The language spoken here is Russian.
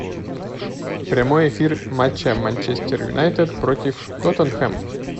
прямой эфир матча манчестер юнайтед против тоттенхэм